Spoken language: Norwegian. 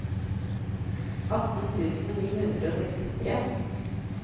atten tusen ni hundre og sekstitre